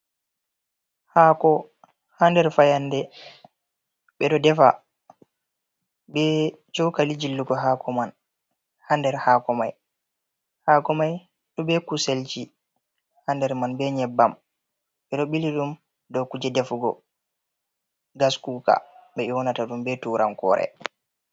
Haako haa nder fayannde ɓeɗo defa, bee cooka li jillugo haako man haɗ nder haako may, haako may bee kusel haa nder man, bee nyebbam, ɗe ɗo ɓili ɗum dow kuje defugo gaskuuka ɓe ƴoonata ɗum be turankoore.